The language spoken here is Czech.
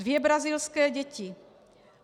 Dvě brazilské děti.